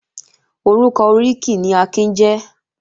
Orúkọ oríkì ni Akin jẹ́